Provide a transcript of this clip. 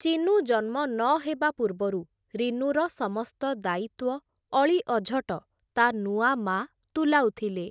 ଚିନୁ ଜନ୍ମ ନ ହେବା ପୂର୍ବରୁ, ରିନୁର ସମସ୍ତ ଦାୟିତ୍ଵ, ଅଳିଅଝଟ, ତା ନୂଆ ମା’ ତୁଲାଉଥିଲେ ।